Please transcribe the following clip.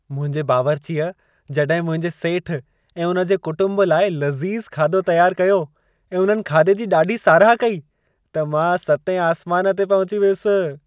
मुंहिंजे बावर्चीअ जॾहिं मुंहिंजे सेठ ऐं उन जे कुटुंब लाइ लज़ीज़ खाधो तयारु कयो ऐं उन्हनि खाधे जी ॾाढी साराह कई, त मां सतें आसमान ते पहुची वियुसि।